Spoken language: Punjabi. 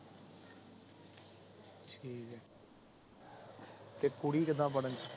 ਠੀਕ ਏ ਤੇ ਕੁੜੀ ਕਿਦਾ ਪੜਣ ਚ